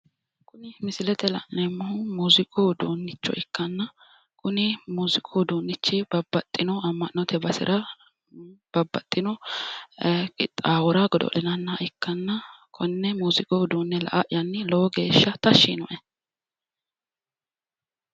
kuni misilete aana la'neemmohu muziiqu uduunnicho ikkanna kuni muziiqu uduunnichi babbaxino amma'note basera babbaxino qixaawora godo'linanniha ikkanna konne muziiqu uduunne la''ayanni lowo geeshsha tashshi yiinoe